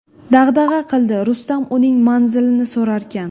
dag‘dag‘a qildi Rustam uning manzilini so‘rarkan.